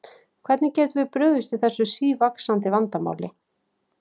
Hvernig getum við brugðist við þessu sívaxandi vandamáli?